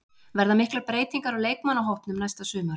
Verða miklar breytingar á leikmannahópnum næsta sumar?